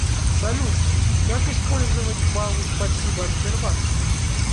салют как использовать балы спасибо от сбербанка